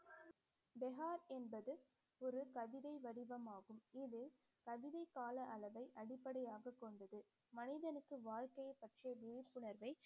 Behar என்பது ஒரு கவிதை வடிவமாகும் இது கவிதை கால அளவை அடிப்படையாக கொண்டது மனிதனுக்கு வாழ்க்கைய பற்றிய விழிப்புணர்வை